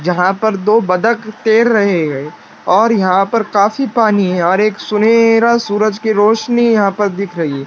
जहां पर दो बतख तैर रहे हैं और यहां पर काफी पानी है और एक सुनहरा सूरज की रोशनी यहां पर दिख रही है।